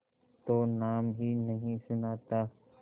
तो नाम ही नहीं सुना था